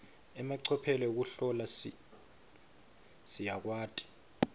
emacophelo ekuhlola siyakwati